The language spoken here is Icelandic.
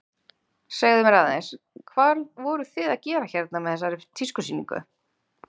Segðu mér aðeins, hvað voruð þið að gera hérna með þessari tískusýningu?